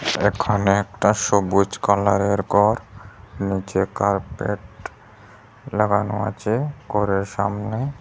এখানে একটা সবুজ কালারের গর নিচে কার্পেট লাগানো আচে গরের সামনে।